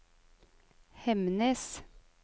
Hemnes